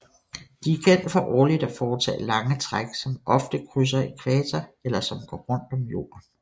De er kendt for årligt at foretage lange træk som ofte krydser ækvator eller som går rundt om jorden